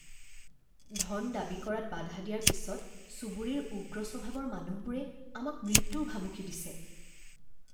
ধন দাবী কৰাত বাধা দিয়াৰ পিছত চুবুৰীৰ উগ্ৰ স্বভাৱৰ মানুহবোৰে আমাক মৃত্যুৰ ভাবুকি দিছে